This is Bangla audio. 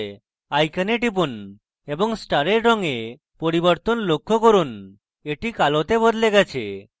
icon টিপুন এবং star রঙে পরিবর্তন লক্ষ্য করুন এটা কালোতে বদলে গেছে